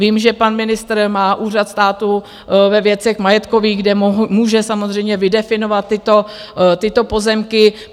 Vím, že pan ministr má Úřad státu ve věcech majetkových, kde může samozřejmě vydefinovat tyto pozemky.